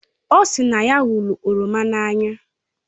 O si na ya hụrụ oroma n'anya